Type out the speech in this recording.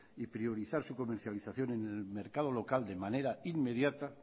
y priorizar su comercialización en el mercado local de manera inmediata